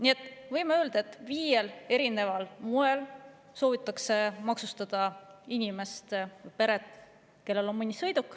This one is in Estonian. Seega võime öelda, et inimest või peret, kellel on mõni sõiduk, soovitakse maksustada viiel erineval moel.